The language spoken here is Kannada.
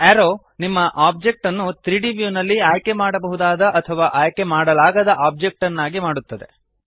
ಅರೋವ್ ನಿಮ್ಮ ಆಬ್ಜೆಕ್ಟ್ ಅನ್ನು 3ದ್ ವ್ಯೂನಲ್ಲಿ ಆಯ್ಕೆಮಾಡಬಹುದಾದ ಅಥವಾ ಆಯ್ಕೆಮಾಡಲಾಗದ ಆಬ್ಜೆಕ್ಟ್ ನ್ನಾಗಿ ಮಾಡುತ್ತದೆ